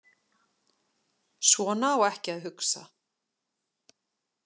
Svona á ekki að hugsa.